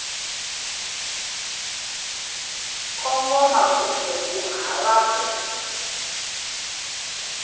kongoma kumbe ku hava ku